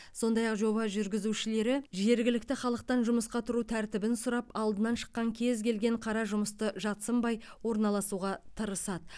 сондай ақ жоба жүргізушілері жергілікті халықтан жұмысқа тұру тәртібін сұрап алдынан шыққан кез келген қара жұмысты жат сынбай орналасуға тырысады